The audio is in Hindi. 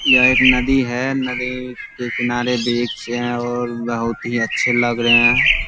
यह एक नदी है। नदी के किनार वृक्ष हैं और बहुत ही अच्छे लग रहे हैं।